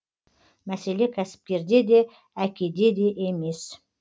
мәселе кәсіпкерде де әке де емес